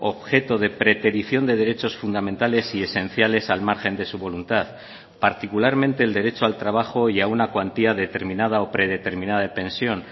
objeto de preterición de derechos fundamentales y esenciales al margen de su voluntad particularmente el derecho al trabajo y a una cuantía determinada o predeterminada de pensión